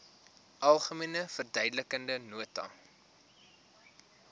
algemene verduidelikende nota